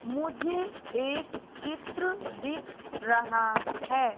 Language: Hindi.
मुझे एक चित्र दिख रहा है।